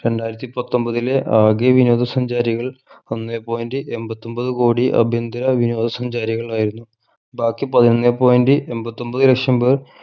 രണ്ടായിരത്തി പത്തൊമ്പതിലെ ആകെ വിനോദ സഞ്ചാരികൾ ഒന്നേ point എമ്പത്തൊമ്പത് കോടി അഭ്യന്തര വിനോദ സഞ്ചാരികളായിരുന്നു ബാക്കി പതിനൊന്നേ point എമ്പത്തൊമ്പത് ലക്ഷം പേർ